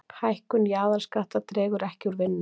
Hækkun jaðarskatta dregur ekki úr vinnu